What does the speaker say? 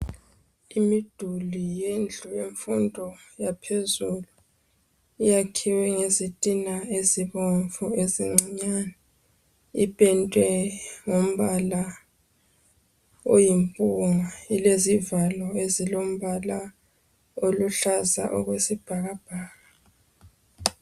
Imiduli yendlu yemfundo yaphezulu iyakhiwe ngezitina ezibomvu ezincinyane. Ipendwe ngombala oyimpunga. Ilezivalo ezilombala oluhlaza okwesibhakabhaka.